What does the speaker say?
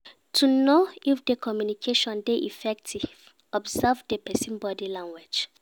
To know if di communication di effective observe di persin body language